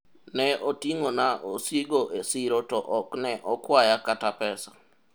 ne oting'ona osigo e siro to ok ne okwaya kata pesa